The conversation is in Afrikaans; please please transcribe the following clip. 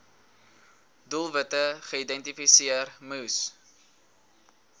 doelwitte geïdentifiseer moes